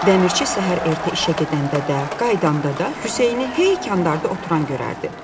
Dəmirçi səhər erkən işə gedəndə də, qayıdanda da Hüseyni hey kandarda oturan görərdi.